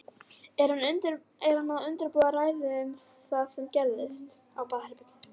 Er hann að undirbúa ræðu um það sem gerðist?